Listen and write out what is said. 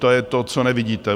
To je to, co nevidíte.